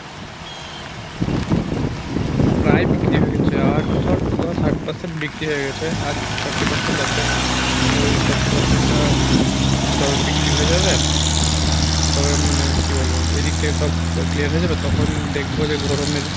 প্রায় বিক্রি হয়ে গেছে আর ধর ধর ষাট percent বিক্রি হয়ে গেছে আর forty percent আছে তো এই forty percent টা মানে যবে বিক্রি হয়ে যাবে তবে মানে কী বলবো এদিক থেকে সব clear হয়ে যাবে তখন দেখবো যে গরমের